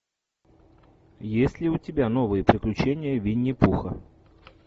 есть ли у тебя новые приключения винни пуха